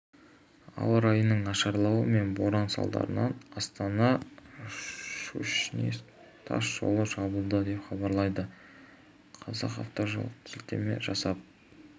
ауа райының нашарлауы мен боран салдарынан астана щучинск тас жолы жабылды деп хабарлайды казақавтожол сілтеме жасап